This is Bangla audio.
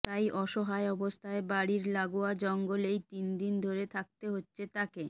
তাই অসহায় অবস্থায় বাড়ির লাগোয়া জঙ্গলেই তিনদিন ধরে থাকতে হচ্ছে তাঁকে